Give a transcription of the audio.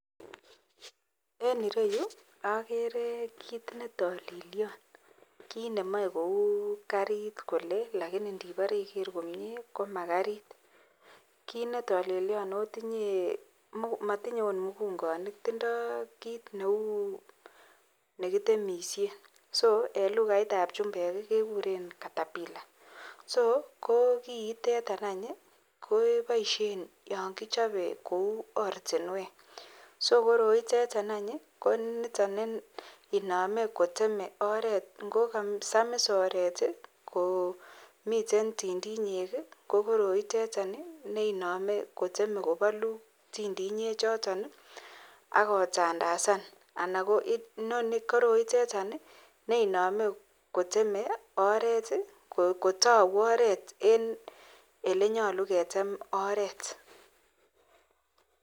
En ireyu agere kit netalelion kit Neu karit Kole lakini nibare Iger komie komagarit ago kit netalelion akomatimye okot mugunganik tindo kit Neu nekitemishen ak en lugait ab chumbek kekuren capillar so koiteton kebaishen yangichobe Kou oratinwek ako koroitetan koniton neiname kiteme oret ngogasamis oret komiten tindinyek ko koroitetan neimane kiteme kobalu tindinyek choton akotandasan koroitetan neiname kiteme oret kotauboret en olenyalu ketem oret